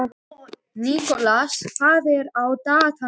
Nikolas, hvað er á dagatalinu mínu í dag?